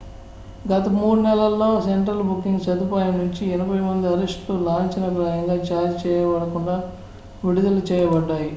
గత 3 నెలల్లో central booking సదుపాయం నుంచి 80 మంది అరెస్ట్ లు లాంఛనప్రాయంగా ఛార్జ్ చేయబడకుండా విడుదల చేయబడ్డాయి